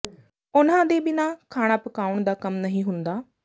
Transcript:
ਉਨ੍ਹਾਂ ਦੇ ਬਿਨਾਂ ਖਾਣਾ ਪਕਾਉਣ ਦਾ ਕੰਮ ਨਹੀਂ ਹੁੰਦਾ